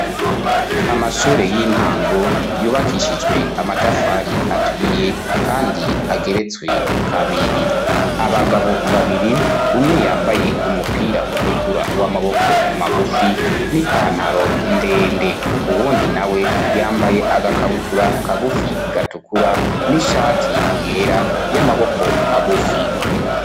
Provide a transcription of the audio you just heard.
Amashure y'intango yubakishijwe amatafari aturiye kandi ageretswe kabiri, abagabo babiri umwe yambaye umupira utukura w'amaboko magufi n'ipantaro ndende, uwundi nawe yambaye agakabutura kagufi gatukura n'ishati yera y'amaboko magufi.